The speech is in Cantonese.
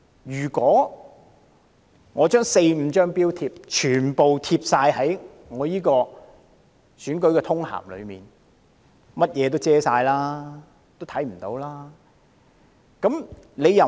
如果把四五張標貼全部貼在選舉通函上，便會遮蓋所有內容。